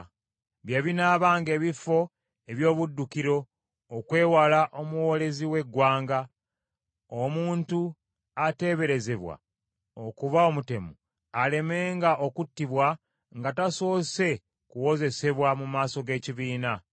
Bye binaabanga ebifo eby’obuddukiro okwewala omuwoolezi w’eggwanga , omuntu ateeberezebwa okuba omutemu alemenga okuttibwa nga tasoose kuwozesebwa mu maaso g’ekibiina.